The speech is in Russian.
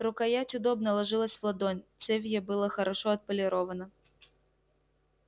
рукоять удобно ложилась в ладонь цевье было хорошо отполировано